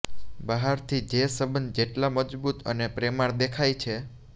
બહારથી જે સંબંધ જેટલા મજબૂત અને પ્રેમાળ દેખાઈ છે